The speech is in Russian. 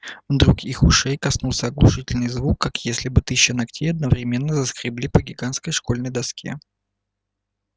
вдруг их ушей коснулся оглушительный звук как если бы тысячи ногтей одновременно заскребли по гигантской школьной доске